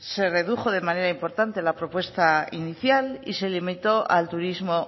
se redujo de manera importante la propuesta inicial y se limitó al turismo